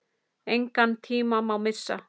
Engan tíma má missa.